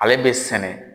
Ale bɛ sɛnɛ